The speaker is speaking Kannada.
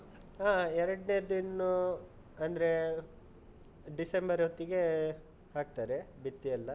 ಹಾ. ಎರಡ್ನೇದ್ದಿನ್ನು, ಅಂದ್ರೆ ಡಿಸೆಂಬರ್ ಹೊತ್ತಿಗೆ ಹಾಕ್ತಾರೆ, ಬಿತ್ತಿ ಎಲ್ಲ.